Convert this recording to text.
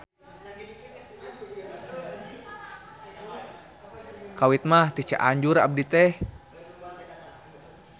Kawit mah ti Cianjur abdi teh